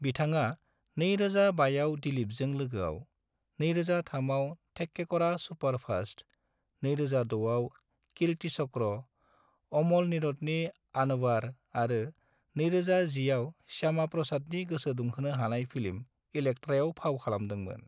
बिथाङा 2005 आव दिलीपजों लोगोआव, 2003 आव थेक्केकरा सुपारफास्ट, 2006 आव कीर्तिचक्र, अमल नीरदनि आनवार आरो 2010 आव श्यामाप्रसादनि गोसोदुंहोनो हानाय फिल्म इलेक्ट्रायाव फाव खालामदोंमोन।